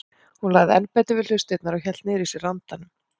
Hún lagði enn betur við hlustirnar og hélt niðri í sér andanum.